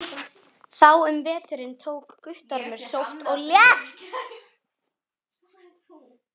Þá um veturinn tók Guttormur sótt og lést skömmu eftir jól.